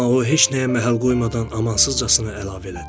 Amma o heç nəyə məhəl qoymadan amansızcasına əlavə elədi.